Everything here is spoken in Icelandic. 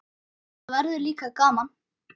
Það var líka gaman.